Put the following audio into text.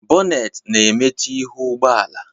Bonet na-emechi ihu ụgbọala